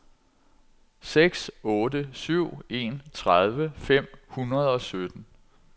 seks otte syv en tredive fem hundrede og sytten